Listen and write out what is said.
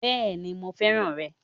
Béèni mo fẹ́ràn rè